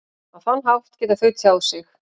Á þann hátt geta þau tjáð sig.